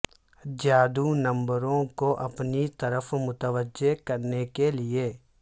جادو نمبروں کو اپنی طرف متوجہ کرنے کے لئے